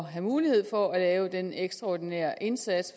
have mulighed for at lave den ekstraordinære indsats